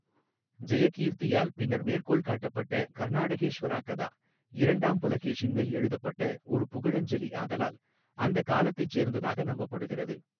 ஜெயகீர்த்தியால் பின்னர் மேற்கோள் காட்டப்பட்ட கர்நாடேஷ்வரா கதா , இரண்டாம் புலகேஷின் மேல் எழுதப்பட்ட ஒரு புகழஞ்சலி ஆதலால் அந்த காலத்தைச் சேர்ந்ததாக நம்பப்படுகிறது.